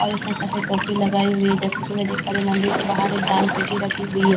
और उसने सफेद टोपी लगाई हुई है जैसे कि मैं देख पा रही हूं मंदिर के बाहर एक दान पेटी रखी हुई है जैसे की --